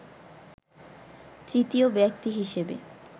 তৃতীয় ব্যক্তি হিসাবে